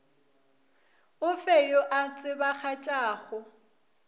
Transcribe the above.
o fe yo a tsebagatšago